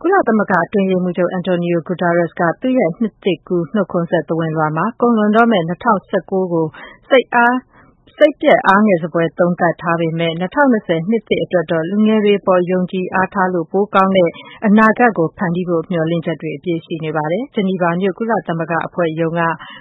ကုလသမဂ္ဂအတွင်းရေးမှူးချုပ် Antonio Guetteres က သူ့ရဲ့ နှစ်သစ်ကူး နှုတ်ခွန်းဆက်သဝဏ်လွှာမှာ ကုန်လွန်တော့မယ့် ၂၀၁၉ ခုနှစ်ကို စိတ်ပျက် အားငယ်စဖွယ် သုံးသပ်ထားပေမဲ့ ၂၀၂၀ နှစ်သစ်အတွက်တော့ လူငယ်တွေအပေါ် ယုံကြည်အားထားလို့ ပိုကောင်းတဲ့ အနာဂတ်ဖန်တီးဖို့ မျှော်လင့် ချက်တွေ အပြည့်ရှိနေပါတယ်။ ဂျီနီဗာမြို့ကုလသမဂ္ဂအဖွဲ့ရုံးက